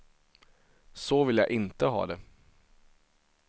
Så vill jag inte ha det.